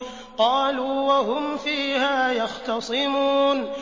قَالُوا وَهُمْ فِيهَا يَخْتَصِمُونَ